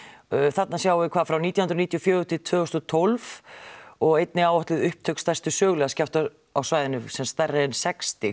þarna sjáum við frá nítján hundruð níutíu og fjögur til tvö þúsund og tólf og einnig áætluð upptök stærstu sögulegu skjálfta á svæðinu semsagt stærri en sex stig